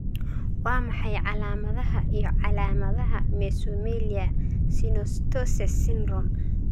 Waa maxay calaamadaha iyo calaamadaha Mesomelia synostoses syndrome?